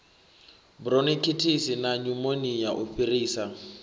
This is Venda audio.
buronikhitisi na nyumonia u fhirisa